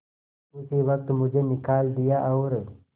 उसी वक्त मुझे निकाल दिया और